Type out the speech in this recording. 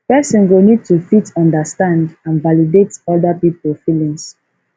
person go need to fit understand and validate oda pipo feelings